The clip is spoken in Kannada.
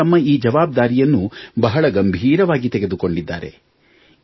ಜನರು ತಮ್ಮ ಈ ಜವಾಬ್ದಾರಿಯನ್ನು ಬಹಳ ಗಂಭೀರವಾಗಿ ತೆಗೆದುಕೊಂಡಿದ್ದಾರೆ